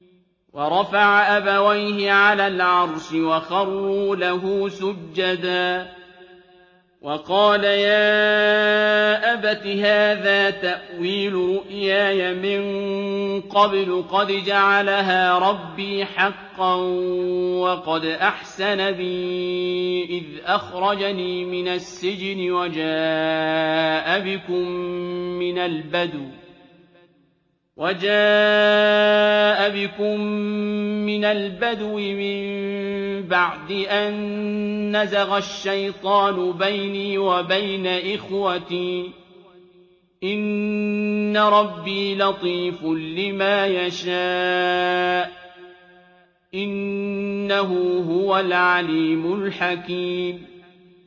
وَرَفَعَ أَبَوَيْهِ عَلَى الْعَرْشِ وَخَرُّوا لَهُ سُجَّدًا ۖ وَقَالَ يَا أَبَتِ هَٰذَا تَأْوِيلُ رُؤْيَايَ مِن قَبْلُ قَدْ جَعَلَهَا رَبِّي حَقًّا ۖ وَقَدْ أَحْسَنَ بِي إِذْ أَخْرَجَنِي مِنَ السِّجْنِ وَجَاءَ بِكُم مِّنَ الْبَدْوِ مِن بَعْدِ أَن نَّزَغَ الشَّيْطَانُ بَيْنِي وَبَيْنَ إِخْوَتِي ۚ إِنَّ رَبِّي لَطِيفٌ لِّمَا يَشَاءُ ۚ إِنَّهُ هُوَ الْعَلِيمُ الْحَكِيمُ